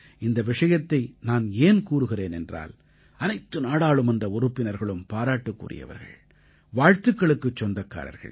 இந்த விஷயத்தை நான் ஏன் கூறுகிறேன் என்றால் அனைத்து நாடாளுமன்ற உறுப்பினர்களும் பாராட்டுக்குரியவர்கள் வாழ்த்துக்களுக்குச் சொந்தக்காரர்கள்